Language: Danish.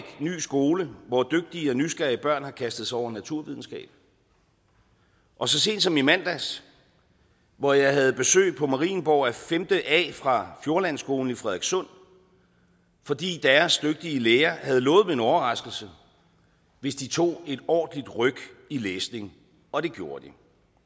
skole hvor dygtige og nysgerrige børn har kastet sig over naturvidenskab og så sent som i mandags hvor jeg havde besøg på marienborg af femte a fra fjordlandskolen i frederikssund fordi deres dygtige lærer havde lovet dem en overraskelse hvis de tog et ordentligt ryk i læsning og det gjorde de